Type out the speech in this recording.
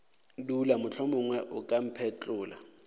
dula mohlomongwe o ka mphetlolla